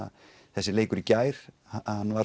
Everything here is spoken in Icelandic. þessi leikur í gær hann var